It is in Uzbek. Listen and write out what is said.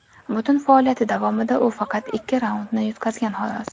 Butun faoliyati davomida u faqat ikki raundni yutqazgan, xolos.